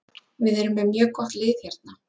Við erum með mjög gott lið hérna.